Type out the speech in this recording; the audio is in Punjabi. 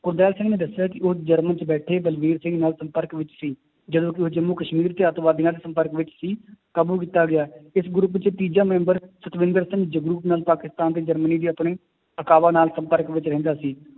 ਗੁਰਦਿਆਲ ਸਿੰਘ ਨੇ ਦੱਸਿਆ ਕਿ ਉਹ ਜਰਮਨ 'ਚ ਬੈਠੇ ਬਲਵੀਰ ਸਿੰਘ ਨਾਲ ਸੰਪਰਕ ਵਿੱਚ ਸੀ, ਜਦੋਂ ਕਿ ਉਹ ਜੰਮੂ ਕਸ਼ਮੀਰ ਤੇ ਆਤੰਕਵਾਦੀਆਂ ਦੇ ਸੰਪਰਕ ਵਿੱਚ ਸੀ ਕਾਬੂ ਕੀਤਾ ਗਿਆ ਇਸ group 'ਚ ਤੀਜਾ ਮੈਂਬਰ ਸਤਵਿੰਦਰ ਸਿੰਘ ਜਗਰੂਪ ਨਾਲ ਪਾਕਿਸਤਾਨ ਤੇ ਜਰਮਨੀ ਦੇ ਆਪਣੇ ਨਾਲ ਸੰਪਰਕ ਵਿੱਚ ਰਹਿੰਦਾ ਸੀ